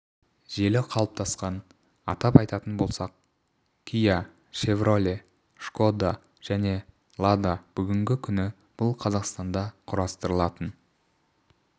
желі қалыптасқан атап айтатын болсақ киа шевроле шкода және лада бүгінгі күні бұл қазақстанда құрастырылатын